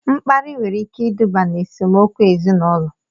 Mkparị nwere ike iduba n'esemokwu ezinaụlọ